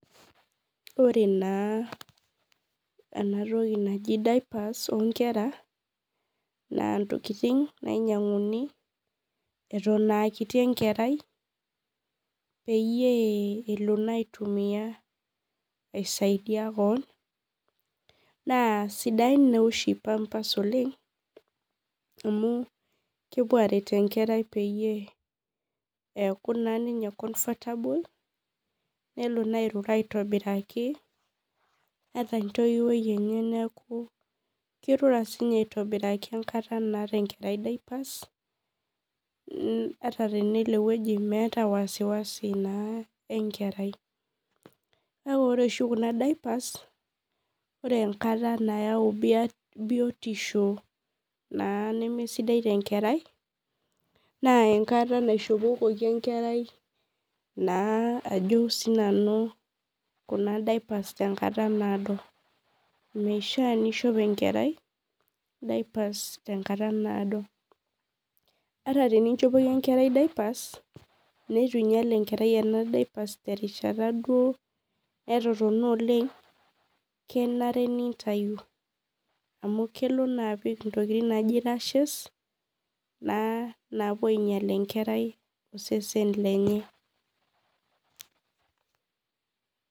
Ore na enatoki naji dipers onkera na ntokitin nainyanguni eton aakiti enkerai peyie elo aitumia aisaidia keon na sidai oshi oleng amu kepuo aret enkerai peyie eaku ninye confertable nelo na airura aitobiraki ataa entouwoi enye kirura sininye aitobiraki ata tenelo ewoi meeta ninye wasiwasi na enkerai kake ore oshi kuna dipers ore enkata nayau biotisho nama sidai tenkerai na enkata naishopokoki enkerai na ajo sinanu kuna dipers yenkata naado ,mishaa nishop enkerai dipers tenkata naadoata teninchopoki enkerai dipers nituinyal enkerai dipers neaku netotona oleng na kenare nintau amu kelo na apik ntokitin nijo napuo ainyel enkerai osesen lenye.